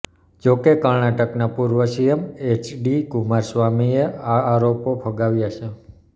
જો કે કર્ણાટકના પૂર્વ સીએમ એચડી કુમારસ્વામીએ આ આરોપો ફગાવ્યા છે